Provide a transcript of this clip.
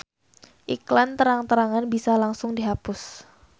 Iklan terang-terangan bisa langsung dihapus.